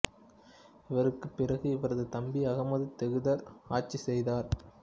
இவருக்குப் பிறகு இவரது தம்பி அகமது தேகுதர் ஆட்சி செய்தார்